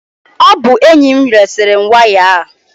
Ọ bụ enyi m resiri m waya a.